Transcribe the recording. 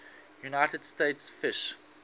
united states fish